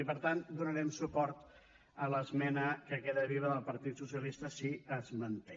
i per tant donarem suport a l’esmena que queda viva del partit socialista si es manté